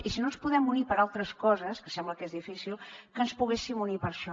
i si no ens podem unir per altres coses que sembla que és difícil que ens poguéssim unir per a això